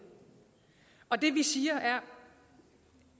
og det vi siger